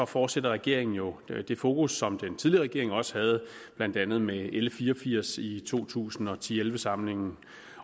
fortsætter regeringen jo med det fokus som den tidligere regering også havde blandt andet med l fire og firs i to tusind og ti til elleve samlingen